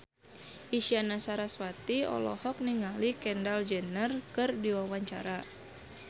Isyana Sarasvati olohok ningali Kendall Jenner keur diwawancara